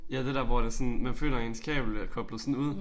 Ja det der hvor det er sådan men føler ens kabel er koblet sådan ud